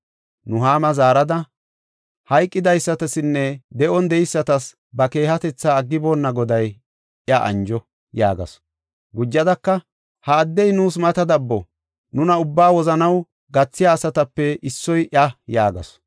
Nuhaama zaarada, “Hayqidaysatasinne de7on de7eysatas ba keehatetha aggiboonna Goday iya anjo” yaagasu. Gujadaka, “Ha addey nuus mata dabbo; nuna ubba wozanaw gathiya asatape issoy iya” yaagasu.